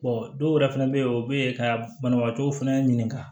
dɔw yɛrɛ fɛnɛ bɛ yen o bɛ yen ka banabagatɔw fɛnɛ ɲininka